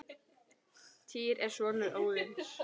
Týr er sonur Óðins.